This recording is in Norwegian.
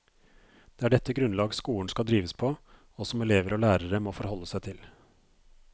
Det er dette grunnlag skolen skal drives på, og som elever og lærere må forholde seg til.